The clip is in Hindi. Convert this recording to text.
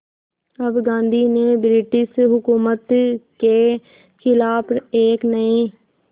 अब गांधी ने ब्रिटिश हुकूमत के ख़िलाफ़ एक नये